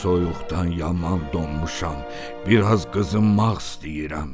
Soyuqdan yaman donmuşam, biraz qızınmaq istəyirəm.